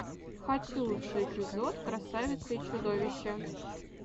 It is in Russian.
хочу лучший эпизод красавицы и чудовища